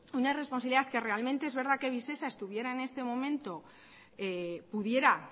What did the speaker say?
una responsabilidad que realmente es verdad que visesa estuviera en este momento pudiera